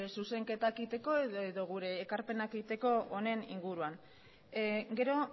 zuzenketak egiteko edo gure ekarpenak egiteko honen inguruan gero